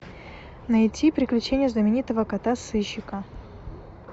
найти приключения знаменитого кота сыщика